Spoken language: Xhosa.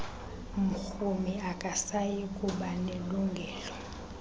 mrhumi akasayi kubanelungelo